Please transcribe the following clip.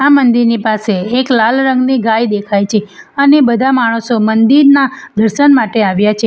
મંદિરની પાસે એક લાલ રંગની ગાય દેખાય છે અને બધા માણસો મંદિરના દર્શન માટે આવ્યા છે.